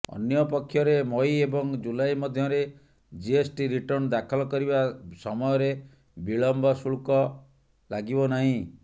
ଅନ୍ୟପକ୍ଷରେ ମଇ ଏବଂ ଜୁଲାଇ ମଧ୍ୟରେ ଜିଏସ୍ଟି ରିଟର୍ଣ୍ଣ ଦାଖଲ କରିବା ସମୟରେ ବିଳମ୍ୱ ଶୁଳ୍କ ଲାଗିବ ନାହିଁ